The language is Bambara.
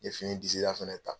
N ye fini disi da fɛnɛ ta.